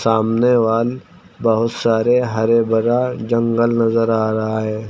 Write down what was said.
सामने वाल बहुत सारे हरे भरा जंगल नजर आ रहा है।